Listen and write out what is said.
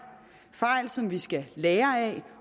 fejl som vi skal lære af